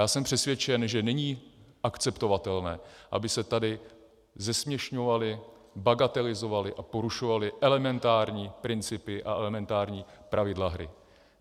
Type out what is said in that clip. Já jsem přesvědčen, že není akceptovatelné, aby se tady zesměšňovaly, bagatelizovaly a porušovaly elementární principy a elementární pravidla hry.